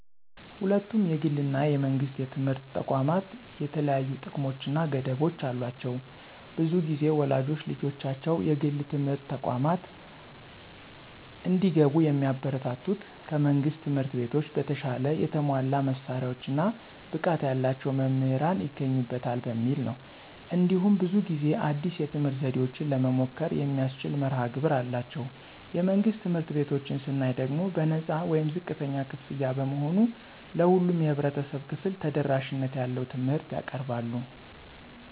ሁለቱም የግል እና የመንግሥት ትምህርት ተቋማት የተለያዩ ጥቅሞች እና ገደቦች አሏቸው። ብዙ ጊዜ ወላጆች ልጆቻቸው የግል ትምህርት ተቋማት እንዲገቡ የሚያበረታቱት ከመንግሥት ትምህርት ቤቶች በተሻለ የተሟላ መሳሪያዎች እና ብቃት ያላቸው መምህራን ይገኙበታል በሚል ነው። እንዲሁም ብዙ ጊዜ አዲስ የትምህርት ዘዴዎችን ለመሞከር የሚያስችል መርሀ ግብር አላቸው። የመንግሥት ትምህርት ቤቶችን ስናይ ደግሞ በነፃ ወይም ዝቅተኛ ክፍያ በመሆኑ ለሁሉም የህብረተሰብ ክፍል ተደራሽነት ያለው ትምህርት ያቀርባሉ።